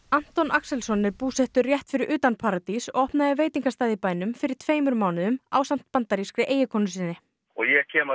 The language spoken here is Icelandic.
Anton Axelsson er búsettur rétt fyrir utan paradís opnaði veitingastað í bænum fyrir tveimur mánuðum ásamt bandarískri eiginkonu sinni ég kem